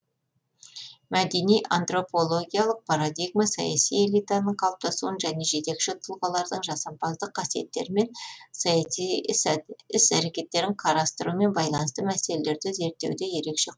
мәдени антропологиялық парадигма саяси элитаның калыптасуын және жетекші тұлғалардың жасампаздық қасиеттері мен саяси іс әрекеттерін карастырумен байланысты мәселелерді зерттеуде ерекше